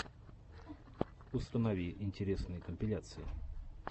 установи интересные компиляции